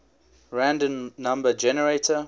random number generator